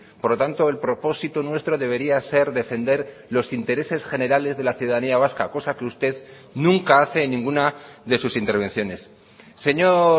por lo tanto el propósito nuestro debería ser defender los intereses generales de la ciudadanía vasca cosa que usted nunca hace en ninguna de sus intervenciones señor